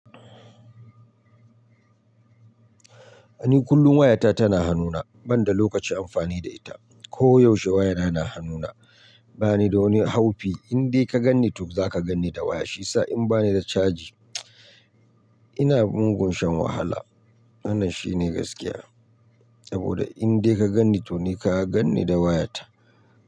A ni kullum wayata tana hannuna banda lokacin amfani da ita. Ko yaushe waya na hannuna. Ba ni da wani haufi, in dai ka ganni to zaka ganni da waya, shi ya sa in ba ni da caji ina mugun shan wahala. Wannan shine gaskiya, saboda in dai ka ganni to ni ka ganni da wayata.